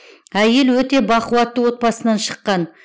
әйел өте бақуатты отбасынан шыққан